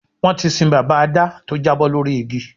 Wọ́n ti sin bàbá Adá tó jábọ́ lórí igi